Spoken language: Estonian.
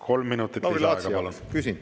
Kolm minutit lisaaega.